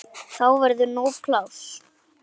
Þá verður nóg pláss.